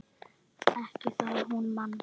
Ekki það hún man.